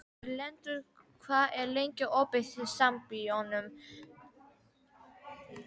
Erlendur, hvað er lengi opið í Sambíóunum?